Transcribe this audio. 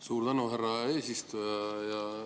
Suur tänu, härra eesistuja!